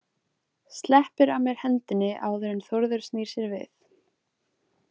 Sleppir af mér hendinni áður en Þórður snýr sér við.